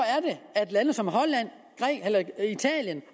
at lande som holland italien